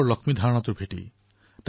পেন্নিনডা ব্ৰুহু পৰ্চিদানু